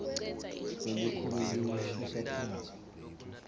lelikhulu liwushiya phasi